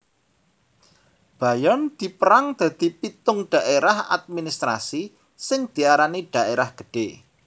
Bayern dipérang dadi pitung dhaérah administrasi sing diarani daerah gedhe